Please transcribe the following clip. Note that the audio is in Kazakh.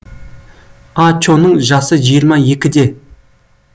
а чоның жасы жиырма екіде